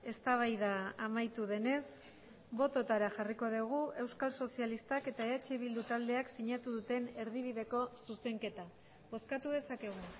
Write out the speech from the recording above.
eztabaida amaitu denez bototara jarriko dugu euskal sozialistak eta eh bildu taldeak sinatu duten erdibideko zuzenketa bozkatu dezakegu